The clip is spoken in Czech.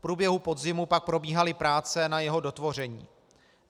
V průběhu podzimu pak probíhaly práce na jeho dotvoření.